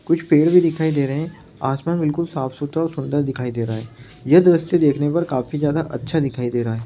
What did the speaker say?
कुछ पेड़ भी दिखाई दे रहे हैं आसमान बिल्कुल साफ-सुथरा और सुंदर दिखाई दे रहा है यह द्रश्य देखने पर काफी ज्यादा अच्छा दिखाई दे रहा है।